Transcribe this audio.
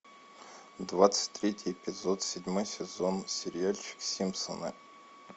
двадцать третий эпизод седьмой сезон сериальчик симпсоны